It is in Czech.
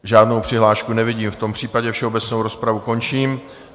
Žádnou přihlášku nevidím, v tom případě všeobecnou rozpravu končím.